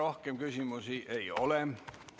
Rohkem küsimusi ei ole.